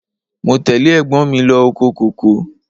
Mo tẹ́lẹ̀ ẹ̀gbọ́n mi lọ oko kòkó.